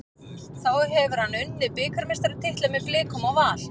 Þá hefur hann unnið bikarmeistaratitla með Blikum og Val.